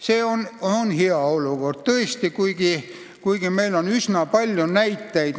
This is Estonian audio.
See on hea komme tõesti, kuigi meil on üsna palju teistsuguseid näiteid.